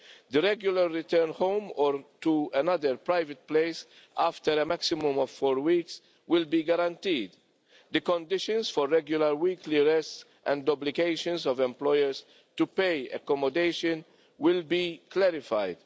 the regular return home or to another private place after a maximum of four weeks will be guaranteed the conditions for regular weekly rests and obligations of employers to pay accommodation will be clarified